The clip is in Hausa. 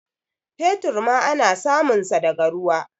fetur ma ana sumunsa daga ruwa